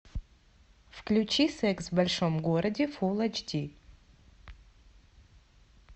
включи секс в большом городе фул эйч ди